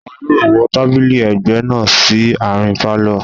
Wọ́n yóò wọ́ tábìlì ẹ̀gbẹ́ náà sí àárín pálọ̀